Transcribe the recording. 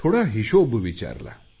थोडा हिशोब विचारला